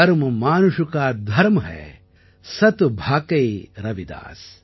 கர்ம மானுஷ் கா தரம் ஹை சத் பாகை ரவிதாஸ்